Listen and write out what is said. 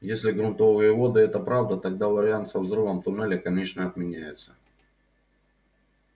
если грунтовые воды это правда тогда вариант со взрывом туннеля конечно отменяется